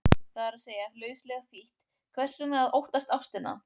Það er að segja, lauslega þýtt, hvers vegna að óttast ástina?